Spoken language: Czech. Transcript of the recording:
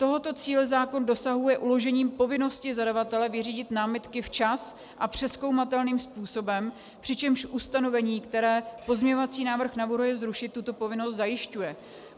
Tohoto cíle zákon dosahuje uložením povinnosti zadavatele vyřídit námitky včas a přezkoumatelným způsobem, přičemž ustanovení, které pozměňovací návrh navrhuje zrušit, tuto povinnost zajišťuje.